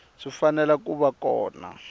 swi fanele ku va kona